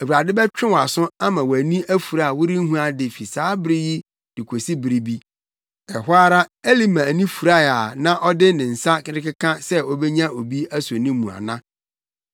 Awurade bɛtwe wʼaso ama wʼani afura a worenhu ade fi saa bere yi de kosi bere bi.” Ɛhɔ ara Elima ani furae a na ɔde ne nsa rekeka sɛ obenya obi aso ne mu ana.